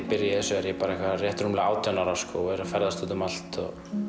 byrja í þessu er ég bara eitthvað rétt rúmlega átján ára og er að ferðast út um allt